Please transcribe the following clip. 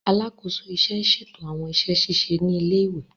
Alakoso iṣẹ n ṣeto awọn iṣẹ ṣiṣe ni ile-iwe.